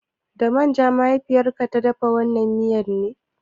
Da man ja mahaifiyar ka ta dafa wannan miyar ne?